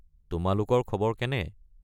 তোমালোকৰ খবৰ কেনে?